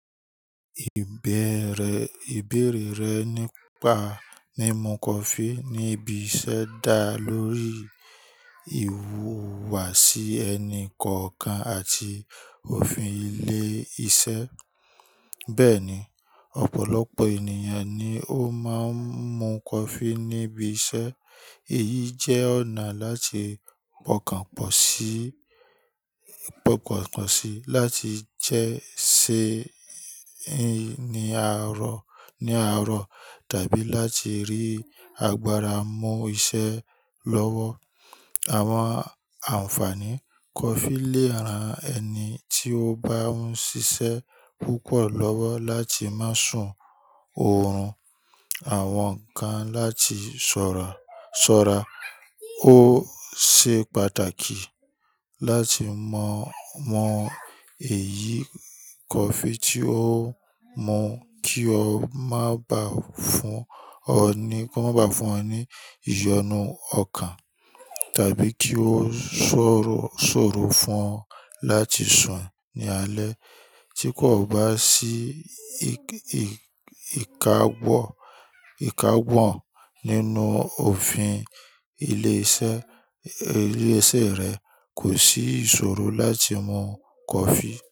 Ìbéèrè, ìbéèrè rẹ nípa ní mu coffee ní ibi iṣẹ́ dá lórí ìhùwàsí ẹni kọ̀ọ̀kan àti òfin ilé iṣẹ́. Bẹ́ẹ̀ni, ọ̀pọ̀lọpọ̀ ènìyàn ni ó máa ń mu coffee níbi iṣẹ́. Èyí jẹ́ ọ̀nà láti pọ̀kànpọ̀ sí, pọ̀kànpọ̀ sí láti jẹ́ ṣé ń ní àárọ̀, ní àárọ̀ tàbí láti rí agbára mú iṣẹ́ lọ́wọ́. Àwọn àǹfààní coffee lè ran ẹni tí ó bá ń ṣiṣẹ́ púpọ̀ lọ́wọ́ láti má sùn oòrùn, àwọn kan láti ṣọ́ra, ṣọ́ra. Ó ṣe pàtàkì láti mọ, mọ èyí coffee tí o mu kí ó má bá fún ọ ní, kí ó má bá fún ọ ní ìyọnu ọkàn tàbí kí ó ṣòro, ṣòro fún ọ láti sùn ní alẹ́. Tí kò bá sí ìkàgbọ, ìkàgbọ́ nínú òfin ilé iṣẹ́, ilé iṣẹ́ rẹ kò sí ìṣòro láti mu coffee.